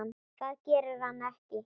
Það gerir hann ekki!